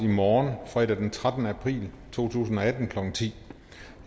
i morgen fredag den trettende april to tusind og atten klokken ti